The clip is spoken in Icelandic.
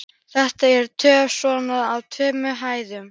Þetta er töff svona á tveimur hæðum.